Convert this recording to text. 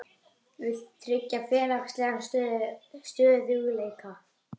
Vill tryggja félagslegan stöðugleika